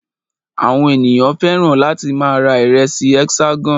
Àwọn ènìyàn fẹ́ràn láti máa ra ìrẹsì Hexagon.